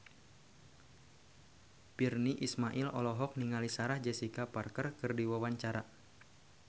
Virnie Ismail olohok ningali Sarah Jessica Parker keur diwawancara